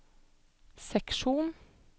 seksjon